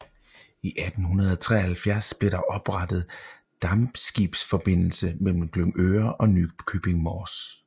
I 1873 blev der oprettet dampskibsforbindelse mellem Glyngøre og Nykøbing Mors